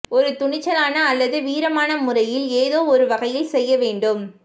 ஒரு துணிச்சலான அல்லது வீரமான முறையில் ஏதோ ஒரு வகையில் செய்ய வேண்டும்